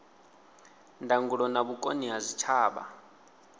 ndangulo na vhukoni ha zwitshavha